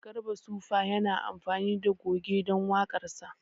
Garba sufa yana amfani da goge don waƙarsa